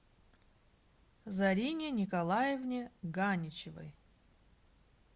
зарине николаевне ганичевой